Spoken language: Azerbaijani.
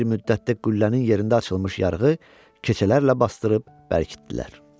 Az bir müddətdə qüllənin yerində açılmış yarığı keçələrlə basdırıb bərkitdilər.